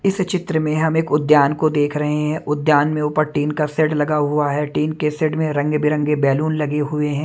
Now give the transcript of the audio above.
इस चित्र में हम एक उद्यान को देख रहे हैं उद्यान में ऊपर टीन का सेड लगा हुआ है टीन के सेड में रंग बिरंगे बैलून लगे हुए हैं।